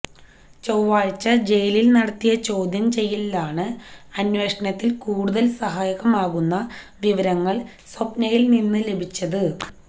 ചൊവ്വാഴ്ച ജയിലില് നടത്തിയ ചോദ്യം ചെയ്യലിലാണ് അന്വേഷണത്തിന് കൂടുതല് സഹായകമാകുന്ന വിവരങ്ങള് സ്വപ്നയില്നിന്ന് ലഭിച്ചത്